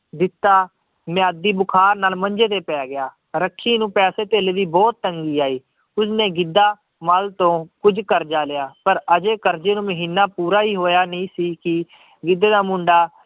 ਜਿੱਤਾ ਮਿਆਦੀ ਬੁਖਾਰ ਨਾਲ ਮੰਜੇ ਤੇ ਪੈ ਗਿਆ, ਰੱਖੀ ਨੂੰ ਪੈਸੇ ਧੇਲੇ ਦੀ ਬਹੁਤ ਤੰਗੀ ਆਈ, ਉਸਨੇ ਗਿੱਧਾ ਮਲ ਤੋਂ ਕੁੱਝ ਕਰਜ਼ਾ ਲਿਆ ਪਰ ਹਜੇ ਕਰਜ਼ੇ ਨੂੰ ਮਹੀਨਾ ਪੂਰਾ ਹੀ ਹੋਇਆ ਨਹੀਂ ਸੀ ਕਿ ਗਿੱਧੇ ਦਾ ਮੁੰਡਾ